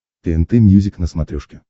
тнт мьюзик на смотрешке